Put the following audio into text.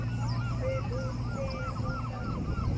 Úddi, er bolti á mánudaginn?